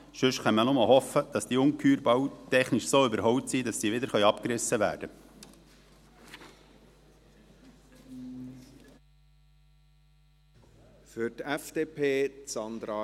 Sonst kann man nur noch hoffen, dass diese Ungeheuer bald technisch so überholt sind, dass sie wieder abgerissen werden können.